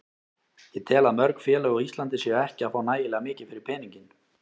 Ég tel að mörg félög á Íslandi séu ekki að fá nægilega mikið fyrir peninginn.